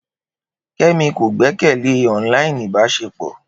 Kemi ko gbekele online ibaṣepọ.